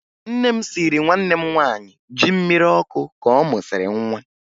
Nne m siiri nwanne m nwaanyị ji mmiri ọkụ ka ọ mụsịrị nwa